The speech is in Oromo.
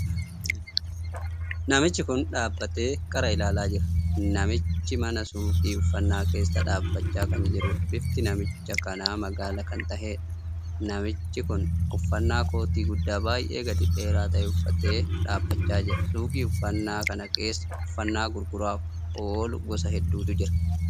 Namichi kun dhaabbatee qara ilaalaa jira. namichi mana suukii uffannaa keessa dhaabbachaa kan jirudha. bifti namicha kanaa magaala kan taheedha. namichi kun uffannaa kootii guddaa baay'ee gadi dheeraa tahe uffatee dhaabbachaa jira. suukii uffanna kana keessa uffannaa gurguraaf oolu gosa hedduutu jira